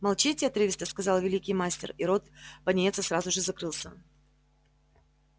молчите отрывисто сказал великий мастер и рот пониетса сразу же закрылся